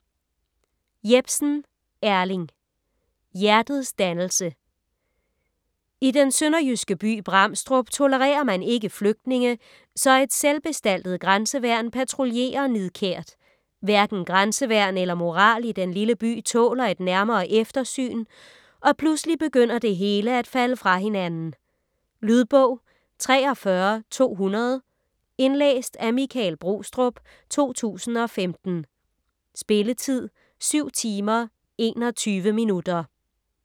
Jepsen, Erling: Hjertets dannelse I den sønderjyske by Bramstrup tolererer man ikke flygtninge, så et selvbestaltet grænseværn patruljerer nidkært. Hverken grænseværn eller moral i den lille by tåler et nærmere eftersyn, og pludselig begynder det hele at falde fra hinanden. Lydbog 43200 Indlæst af Michael Brostrup, 2015. Spilletid: 7 timer, 21 minutter.